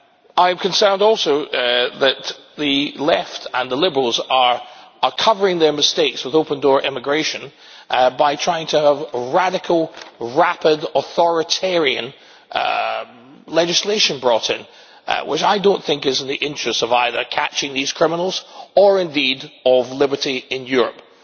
I am concerned also that the Left and the Liberals are covering their mistakes with open door immigration by trying to have a radical, rapid, authoritarian legislation brought in, which I do not think is in the interests of either catching these criminals or indeed of liberty in Europe.